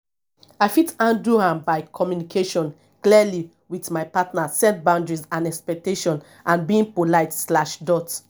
i fit handle am by communication clearly with my partner set boundaries and expectations and being polite slash dot